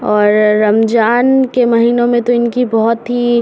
और रमजान के महीनों में तो इनकी बहुत ही --